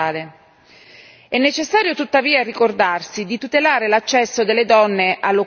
È necessario, tuttavia, ricordarsi di tutelare l'accesso delle donne all'occupazione verde.